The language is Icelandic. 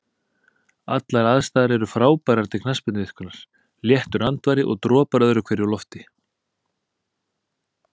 Allar aðstæður er frábærar til knattspyrnuiðkunar, léttur andvari og dropar öðru hverju úr lofti.